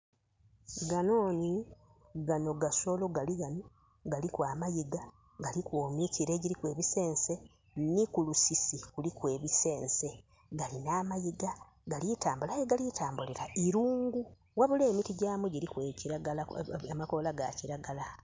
Gano nhi gano gasolo galighano galiku amaiga, galiku emikila egiriku ebisense ni kulusisi kuliku ebisense, galina amaiga aye ghe gali ku tambulila iruungu, ghabula emiti gyamu giriku amakola ga kilagala.